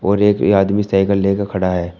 और एक ये आदमी साइकल लेके खड़ा है।